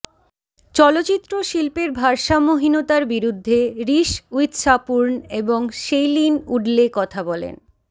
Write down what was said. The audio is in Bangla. চলচ্চিত্র শিল্পের ভারসাম্যহীনতার বিরুদ্ধে রিস উইথশার্পুন এবং শেইলিন উডলে কথা বলেন